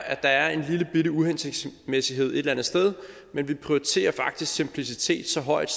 at der er en lillebitte uhensigtsmæssighed et eller andet sted men vi prioriterer faktisk simplicitet så højt